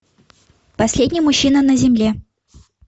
последний мужчина на земле